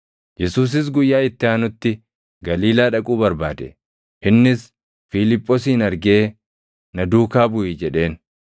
Yesuusis guyyaa itti aanutti Galiilaa dhaquu barbaade. Innis Fiiliphoosin argee, “Na duukaa buʼi” jedheen.